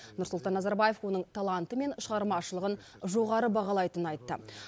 нұрсұлтан назарбаев оның таланты мен шығармашылығын жоғары бағалайтынын айтты